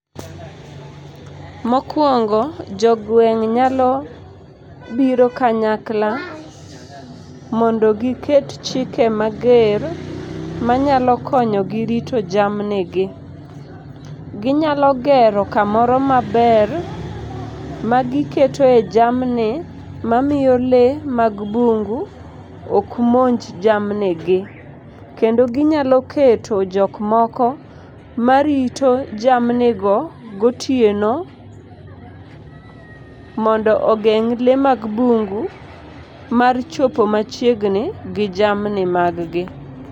Mokwongo, jogweng' nyalo biro kanyakla mondo giket chike mager, manyalo konyogi rito jamnigi. Ginyalo gero kamoro maber, magiketoe jammni mamiyo lee mag bungu ok monj jamnigi. Kendo ginyalo keto jok moko marito jamnigo gotieno,, mondo ogeng' lee mag bungu mar chopo machiegni gi jamni maggi.